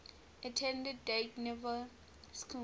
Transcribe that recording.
attended dynevor school